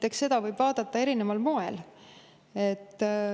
Eks seda võib vaadata erineval moel.